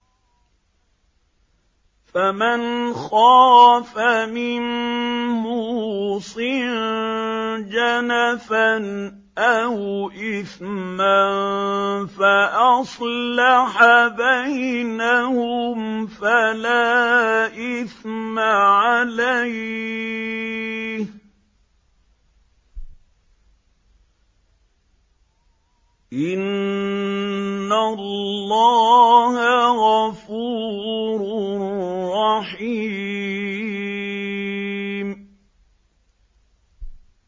فَمَنْ خَافَ مِن مُّوصٍ جَنَفًا أَوْ إِثْمًا فَأَصْلَحَ بَيْنَهُمْ فَلَا إِثْمَ عَلَيْهِ ۚ إِنَّ اللَّهَ غَفُورٌ رَّحِيمٌ